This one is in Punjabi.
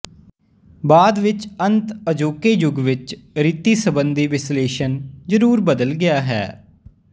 ਬਾਅਦ ਵਿੱਚ ਅੰਤ ਅਜੋਕੇ ਯੁੱਗ ਵਿੱਚ ਰੀਤੀ ਸਬੰਧੀ ਵਿਸ਼ਲੇਸ਼ਣ ਜਰੂਰ ਬਦਲ ਗਿਆ ਹੈ